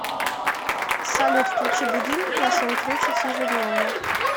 салют включи будильник на семь тридцать ежедневно